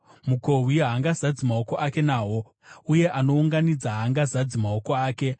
mukohwi haangazadzi maoko ake nahwo, uye anounganidza haangazadzi maoko ake.